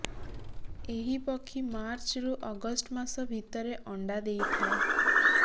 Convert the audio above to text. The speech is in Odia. ଏହି ପକ୍ଷୀ ମାର୍ଚ୍ଚରୁ ଅଗଷ୍ଟ ମାସ ଭିତରେ ଅଣ୍ଡା ଦେଇଥାଏ